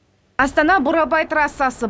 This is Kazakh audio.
астана бурабай трассасы